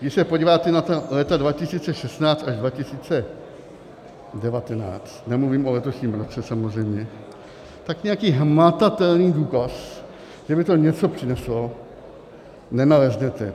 Když se podíváte na ta léta 2016 až 2019, nemluvím o letošním roce samozřejmě, tak nějaký hmatatelný důkaz, že by to něco přineslo, nenaleznete.